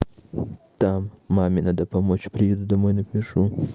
там маме надо помочь приеду домой напишу